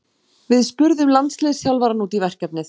Við spurðum landsliðsþjálfarann út í verkefnið.